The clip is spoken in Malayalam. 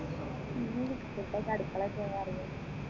ഒന്നുമില്ല ഇപ്പൊ അടുക്കളയിൽ കയറാൻ ഇറങ്ങിയത്